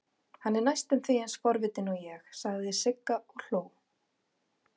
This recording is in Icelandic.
Hann er næstum eins forvitinn og ég, sagði Sigga og hló.